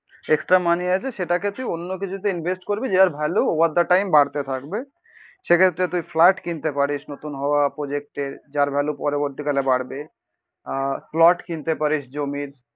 Extra money আছে সেটাকে তুই অন্যকিছুতে ইনভেস্ট করবি যার ভ্যালু ওভার দ্যা টাইম বাড়তে থাকবে। সেক্ষেত্রে তুই ফ্লাট কিনতে পারিস, নতুন হওয়া প্রজেক্টে যার ভ্যালু পরবর্তীকালে বাড়বে আহ প্লট কিনতে পারিস জমির